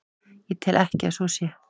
Ég tel ekki að svo sé.